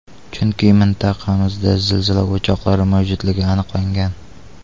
Chunki mintaqamizda zilzila o‘choqlari mavjudligi aniqlangan.